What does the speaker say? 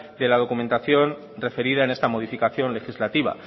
de la documentación referida en esta modificación legislativa